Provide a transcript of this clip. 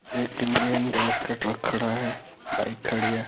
बस या ट्रक खड़ा है बाइक खड़ी है।